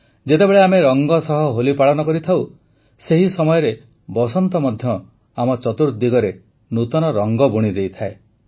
ଯେତେବେଳେ ଆମେ ରଂଗ ସହ ହୋଲି ପାଳନ କରିଥାଉ ସେହି ସମୟ ବସନ୍ତ ମଧ୍ୟ ଆମ ଚତୁର୍ଦିଗରେ ନୂତନ ରଙ୍ଗ ବୁଣିଦେଇଥାଏ